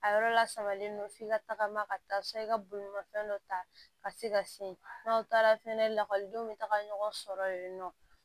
A yɔrɔ lasabalilen don f'i ka tagama ka taa san i ka bolimafɛn dɔ ta ka se ka se n'aw taara fɛnɛ lakɔlidenw bɛ taga ɲɔgɔn sɔrɔ yen nɔ